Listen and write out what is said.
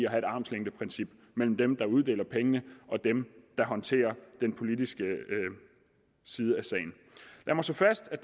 armslængdeprincip mellem dem der uddeler pengene og dem der håndterer den politiske side af sagen lad mig slå fast at